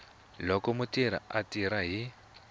loko mutirhi a tirha hi